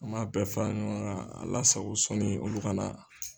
An m'a bɛɛ fara ɲɔgɔn kan a lasago sɔnni olu ka na.